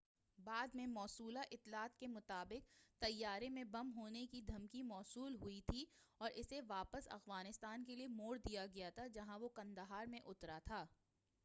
بعد میں موصولہ اطلاعات کے مطابق طیارے میں بم ہونے کی دھمکی موصول ہوئی تھی اور اسے واپس افغانستان کے لیے موڑ دیا گیا تھا جہاں وہ قندھار میں اترا تھا